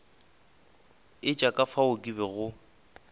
etša ka fao ke bego